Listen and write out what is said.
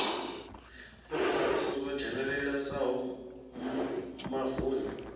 fhirisa i songo dzhenelelesaho mavuni